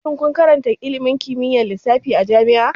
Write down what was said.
Shin kun karanta ilimin kimiyyar lissafi a jami'a?